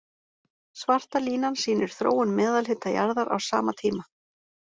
Svarta línan sýnir þróun meðalhita jarðar á sama tíma.